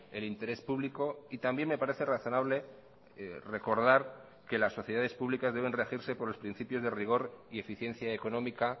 el interés público y también me parece razonable recordar que las sociedades públicas deben regirse por los principios de rigor y eficiencia económica